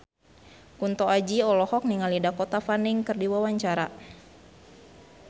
Kunto Aji olohok ningali Dakota Fanning keur diwawancara